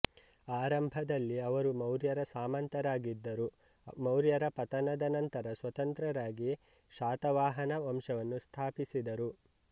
ಆರಂಭದಲ್ಲಿ ಅವರು ಮೌರ್ಯರ ಸಾಮಂತರಾಗಿದ್ದರು ಮೌರ್ಯರ ಪತನದ ನಂತರ ಸ್ವತಂತ್ರ ರಾಗಿ ಶಾತವಾಹನ ವಂಶವನ್ನು ಸ್ಥಾಪಿಸಿದರು